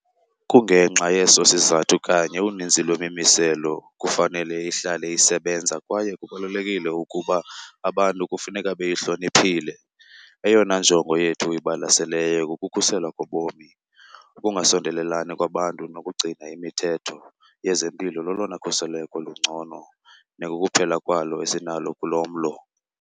Kungenxa yeso sizathu kanye uninzi lwemimiselo kufanele ihlale isebenza kwaye kubalulekile ukuba abantu kufuneka beyihloniphile. Eyona njongo yethu ibalaseleyo kukukhuselwa kobomi. Ukungasondelelani kwabantu nokugcina imithetho yezempilo lolona khuseleko lungcono nekukuphela kwalo esinalo kulo mlo.